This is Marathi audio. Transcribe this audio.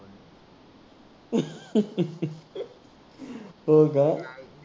हो का?